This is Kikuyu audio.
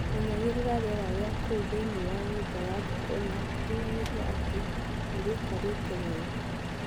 Menyagĩrĩra rĩera rĩa kũu thĩinĩ wa nyũmba ya ngũkũ na ũgatigagĩrĩra atĩ nĩrĩikarĩte wega.